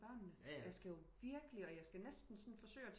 Børnene jeg skal virkelig og jeg skal næsten sådan forsøge